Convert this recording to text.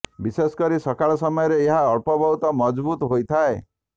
ବିଶେଷ କରି ସକାଳ ସମୟରେ ଏହା ଅଳ୍ପ ବହୁତ ମଜଭୁତ ହୋଇଥାଏ